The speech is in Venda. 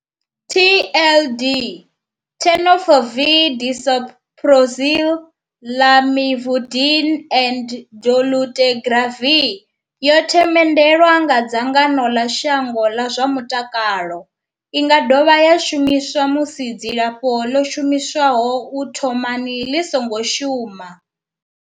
TLD, Tenofovir disoproxil, Lamivudine and dolutegravir, yo themendelwa nga dzangano ḽa shango ḽa zwa mutakalo. I nga dovha ya shumiswa musi dzilafho ḽo shumiswaho u thomani ḽi songo shuma.